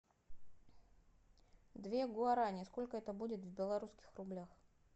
две гуарани сколько это будет в белорусских рублях